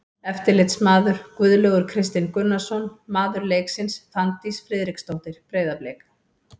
Eftirlitsmaður: Guðlaugur Kristinn Gunnarsson Maður leiksins: Fanndís Friðriksdóttir, Breiðablik.